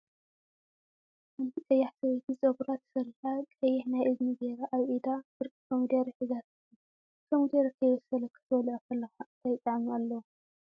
ሓንቲ ቀያሕ ሰበይቲ ፀጉራ ተሰሪሓ ቀይሕ ናይ እዝኒ ገይራ አብ ኢዳ ፍርቂ ኮሚደረ ሒዛ ትርከብ፡፡ ከሚደረ ከይበሰለ ክትበልፆ ከለካ እንታይ ጣዕሚ አለዎ?